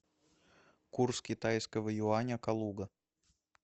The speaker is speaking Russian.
курс китайского юаня калуга